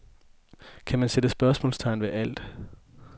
Kan man sætte spørgsmålstegn ved alt?